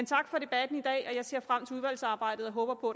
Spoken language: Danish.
tak for debatten i dag jeg ser frem til udvalgsarbejdet og håber på